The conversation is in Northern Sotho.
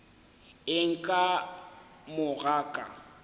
eng ka mo ga ka